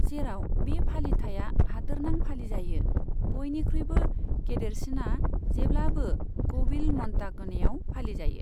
जेराव बे फालिथाइया हादोरनां फालिजायो, बयनिख्रुइबो गेदेरसिना जेब्लाबो क'विल म'न्टागनेआव फालिजायो।